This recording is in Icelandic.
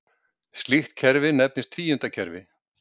slíkt kerfi nefnist tvíundakerfi